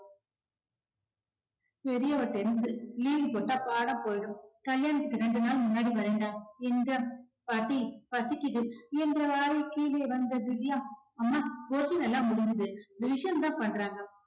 பெரியவ tenth து leave போட்டா பாடம் போயிடும் கல்யாணத்துக்கு ரெண்டு நாள் முன்னாடி வரேண்டா என்றார் பாட்டி பசிக்குது என்றவாரே கீழே வந்த திவ்யா, அம்மா portion எல்லாம் முடிஞ்சுது revision தான் பண்றாங்க